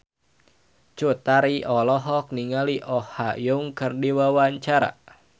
Cut Tari olohok ningali Oh Ha Young keur diwawancara